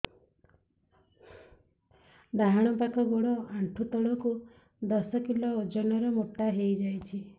ଡାହାଣ ପାଖ ଗୋଡ଼ ଆଣ୍ଠୁ ତଳକୁ ଦଶ କିଲ ଓଜନ ର ମୋଟା ହେଇଯାଇଛି